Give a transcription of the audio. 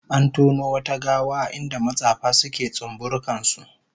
An tono wata gawa a inda matsafa suke tsumburukan su